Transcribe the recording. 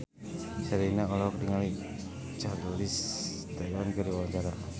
Sherina olohok ningali Charlize Theron keur diwawancara